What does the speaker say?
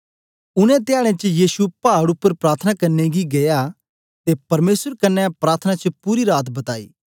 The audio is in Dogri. उनै धयाडें च यीशु पाड उपर प्रार्थना करने गी गीया ते परमेसर कन्ने प्रार्थना च पूरी रात बताई